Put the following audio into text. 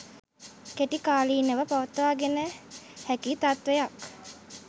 කෙටිකාලිනව පවත්වාගෙන හැකි තත්ත්වයක්